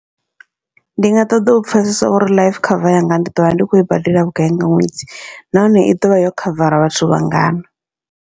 Ndi nga ṱoḓa u pfhesesa uri life cover yanga ndi ḓovha ndi khou i badela vhugai nga ṅwedzi, nahone i ḓovha yo khavara vhathu vhangana.